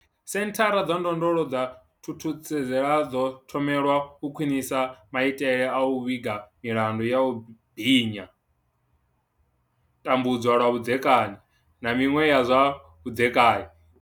Senthara dza ndondolo dza Thuthuzela dzo thomelwa u khwinisa maitele a u vhiga milandu ya u binya, tambudzwa lwa vhudzekani, na miṅwe ya zwa vhudzekani.